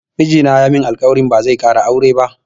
Miji na ya min alƙwari cewa ba zai ƙara aure ba